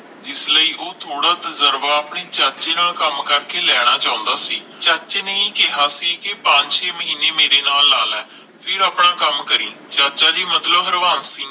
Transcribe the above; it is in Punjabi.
ਜਿਸ ਲਈ ਉਹ ਥੋੜਾ ਤੁਜਰਬਾ ਆਪਣੇ ਚਾਚੇ ਨਾਲ ਕੰਮ ਕਰਕੇ ਲੈਣਾ ਚਾਹੁੰਦਾ ਸੀ ਚਾਚੇ ਨੇ ਹੀ ਕਿਹਾ ਸੀ ਕਿ ਪੰਜ ਛੇ ਮਹੀਨੇ ਮੇਰੇ ਨਾਲ ਲਾ ਲੈ ਫਿਰ ਆਪਣਾ ਕੰਮ ਕਰੀ ਚਾਚਾ ਜੀ ਮਤਲਬ ਹਰਵਾਬ ਸਿੰਘ